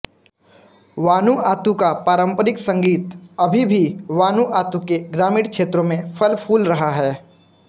Vanuatu का पारंपरिक संगीत अभी भी वानूआतू के ग्रामीण क्षेत्रों में फलफूल रहा है